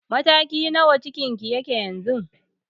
Mataki na nawa cikin ki yake yanzu?